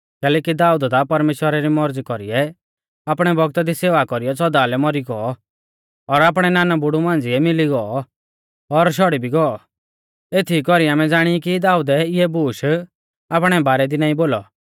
कैलैकि दाऊद ता परमेश्‍वरा री मौरज़ी कौरीऐ आपणै बौगता दी सेवा कौरीयौ सौदा लै मौरी गौ और आपणै नानबुड़ु मांझ़िऐ मिली गौ और शौड़ी भी गौऔ एथीई कौरी आमै ज़ाणी की दाऊदै इऐ बूश आपणै बारै दी नाईं बोलौ